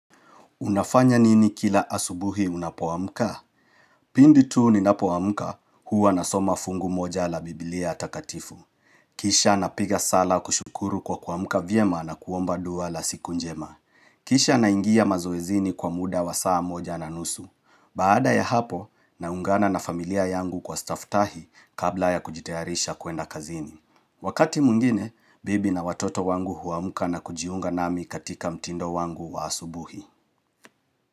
Unafanya nini kila asubuhi unapoamka? Pindi tuu ninapoamka huwa na soma fungu moja la biblia atakatifu. Kisha napiga sala kushukuru kwa kuamuka vyema na kuomba dua la siku njema. Kisha naingia mazoezini kwa muda wa saa moja na nusu. Baada ya hapo, naungana na familia yangu kwa stafftahi kabla ya kujitayarisha kwenda kazini. Wakati mungine, bibi na watoto wangu huamuka na kujiunga nami katika mtindo wangu wa asubuhi.